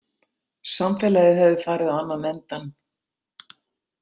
Samfélagið hefði farið á annan endann.